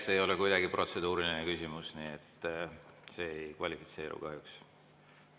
See ei ole kuidagi protseduuriline küsimus, see ei kvalifitseeru kahjuks.